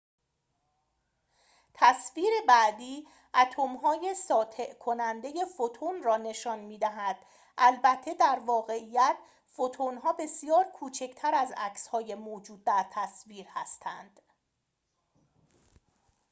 تصویر بعدی اتم‌های ساطع کننده فوتون را نشان می دهد البته در واقعیت فوتون‌ها بسیار کوچکتر از عکسهای موجود در تصویر هستند